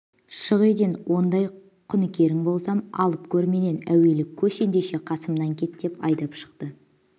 шық үйден ондай құныкерің болсам алып көр менен әуелі көш ендеше қасымнан кет деп айдап шықты